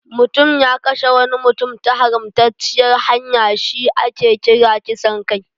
Mutum ya kashe wani mutum ta haramtacciyar hanya shi ake kira kisan kai.